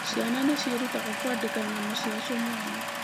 Ciana nĩ ciĩrutaga kwandĩka ng'ano cia cio mwene.